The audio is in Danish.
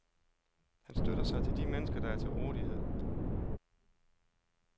Han støtter sig til de mennesker, der er til rådighed.